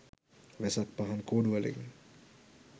වෙසක් පහන් කූඩු වලින්